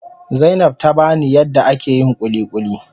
Zainab tabani yadda ake yin kulikuli.